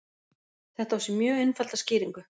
Þetta á sér mjög einfalda skýringu.